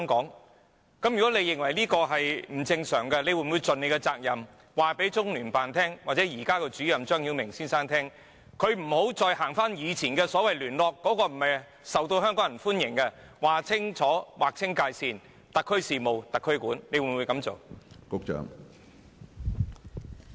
如果局長認為這做法不正常，他會否盡責任，告訴中聯辦或現任主任張曉明先生，請他不要再使用以往的所謂聯絡方法，因為那並不受香港人歡迎，而是要劃清界線，"特區事務特區管"，局長會否這樣做？